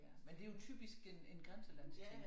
Men det jo typisk en en grænselandsting